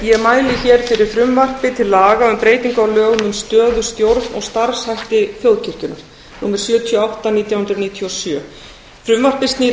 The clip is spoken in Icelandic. ég mæli fyrir frumvarpi til laga um breytingu á lögum um stöðu stjórn og starfshætti þjóðkirkjunnar númer sjötíu og átta nítján hundruð níutíu og sjö frumvarpið snýr